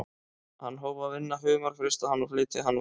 Hann hóf að vinna humar, frysta hann og flytja hann út.